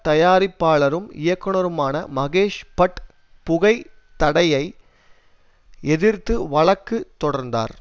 தயாரிப்பாளரும் இயக்குனருமான மகேஷ் பட் புகை தடையை எதிர்த்து வழக்கு தொடர்ந்தார்